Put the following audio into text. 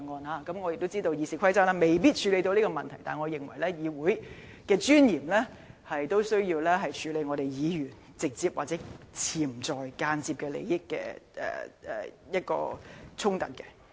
雖然我知道《議事規則》未必能夠處理這個問題，但我認為基於議會的尊嚴，實在有需要處理議員直接、潛在或間接的利益衝突。